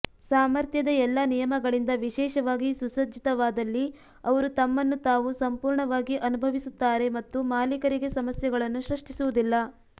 ಸಾಮರ್ಥ್ಯದ ಎಲ್ಲಾ ನಿಯಮಗಳಿಂದ ವಿಶೇಷವಾಗಿ ಸುಸಜ್ಜಿತವಾದಲ್ಲಿ ಅವರು ತಮ್ಮನ್ನು ತಾವು ಸಂಪೂರ್ಣವಾಗಿ ಅನುಭವಿಸುತ್ತಾರೆ ಮತ್ತು ಮಾಲೀಕರಿಗೆ ಸಮಸ್ಯೆಗಳನ್ನು ಸೃಷ್ಟಿಸುವುದಿಲ್ಲ